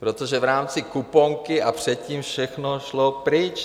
Protože v rámci kuponky a předtím všechno šlo pryč.